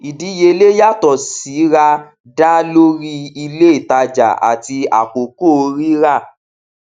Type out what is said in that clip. ìdíyelé yàtọ síra dá lórí ilé ìtajà àti àkókò rira